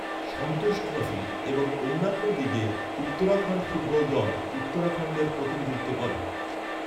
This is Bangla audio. সন্তোষ ট্রফি এবং অন্যান্য লীগে উত্তরাখণ্ড ফুটবল দল উত্তরাখণ্ডের প্রতিনিধিত্ব করে।